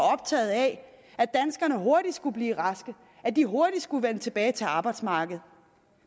optaget af at danskerne hurtigt skulle blive raske at de hurtigt skulle vende tilbage til arbejdsmarkedet